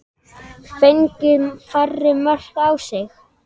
Fengið færri mörk á sig?